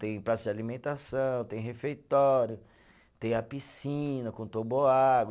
Tem praça de alimentação, tem refeitório, tem a piscina com toboágua.